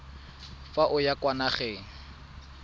fa o ya kwa nageng